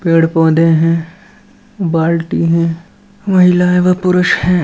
पेड़ पौधे हैं बाल्टी हैं महिलाएँ व पुरुष हैं ।